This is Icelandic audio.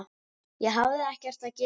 Ég hafði ekkert að gera.